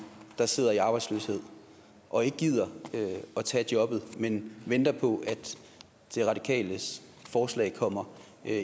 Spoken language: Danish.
der sidder i arbejdsløshed og ikke gider at tage et job men venter på at de radikales forslag kommer